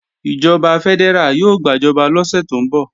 Ìjọba fẹ́dẹ́rà yóò gbàjọba lọ́sẹ̀ tó ń bọ̀